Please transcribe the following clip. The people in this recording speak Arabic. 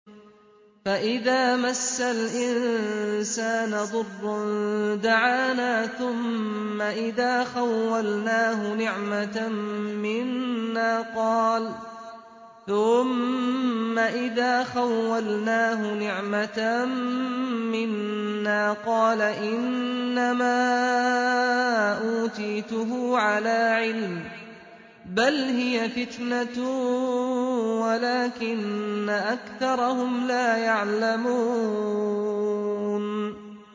فَإِذَا مَسَّ الْإِنسَانَ ضُرٌّ دَعَانَا ثُمَّ إِذَا خَوَّلْنَاهُ نِعْمَةً مِّنَّا قَالَ إِنَّمَا أُوتِيتُهُ عَلَىٰ عِلْمٍ ۚ بَلْ هِيَ فِتْنَةٌ وَلَٰكِنَّ أَكْثَرَهُمْ لَا يَعْلَمُونَ